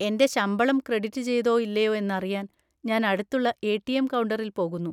എന്റെ ശമ്പളം ക്രെഡിറ്റ് ചെയ്തോ ഇല്ലയോ എന്നറിയാൻ ഞാൻ അടുത്തുള്ള എ.ടി.എം. കൗണ്ടറിൽ പോകുന്നു.